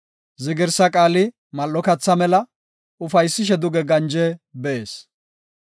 Zigirsa qaali mal7o katha mela ufaysishe duge ganje bees.